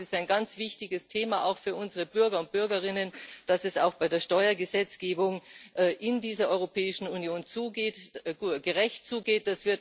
Es ist ein ganz wichtiges Thema auch für unsere Bürger und Bürgerinnen, dass es auch bei der Steuergesetzgebung in dieser Europäischen Union gerecht zugeht.